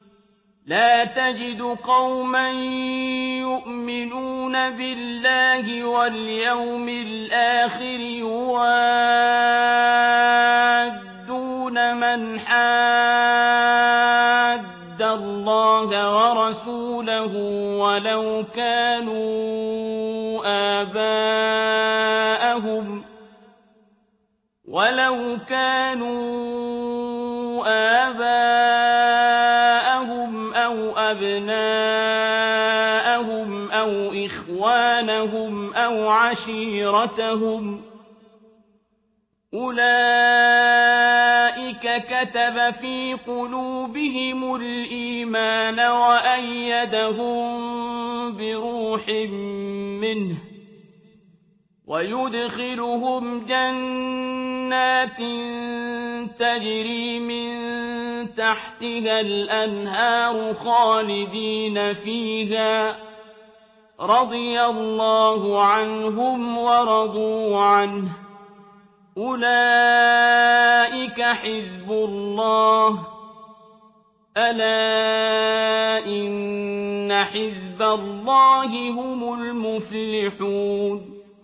لَّا تَجِدُ قَوْمًا يُؤْمِنُونَ بِاللَّهِ وَالْيَوْمِ الْآخِرِ يُوَادُّونَ مَنْ حَادَّ اللَّهَ وَرَسُولَهُ وَلَوْ كَانُوا آبَاءَهُمْ أَوْ أَبْنَاءَهُمْ أَوْ إِخْوَانَهُمْ أَوْ عَشِيرَتَهُمْ ۚ أُولَٰئِكَ كَتَبَ فِي قُلُوبِهِمُ الْإِيمَانَ وَأَيَّدَهُم بِرُوحٍ مِّنْهُ ۖ وَيُدْخِلُهُمْ جَنَّاتٍ تَجْرِي مِن تَحْتِهَا الْأَنْهَارُ خَالِدِينَ فِيهَا ۚ رَضِيَ اللَّهُ عَنْهُمْ وَرَضُوا عَنْهُ ۚ أُولَٰئِكَ حِزْبُ اللَّهِ ۚ أَلَا إِنَّ حِزْبَ اللَّهِ هُمُ الْمُفْلِحُونَ